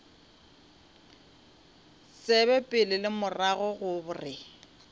tsebe pele le morago gore